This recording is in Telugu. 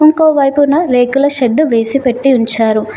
ఇంకో వైపున రేకుల షెడ్డు వేసి పెట్టి ఉంచారు హా --